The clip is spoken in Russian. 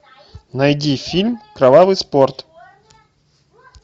найди фильм кровавый спорт